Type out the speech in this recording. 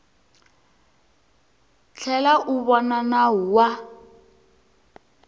tlhela u vona nawu wa